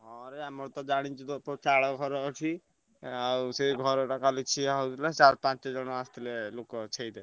ହଁ ଭାଇ ଆମର ତ ଜାଣିଚୁତ ଚାଳ ଘର ଅଛି। ଆଉ ସେ ଘରଟା କାଲି ଛିଆ ହଉଥିଲା ଚାର ପାଞ୍ଚ ଜଣ ଆସ ଥିଲେ ଲୋକ ଛେଇତେ।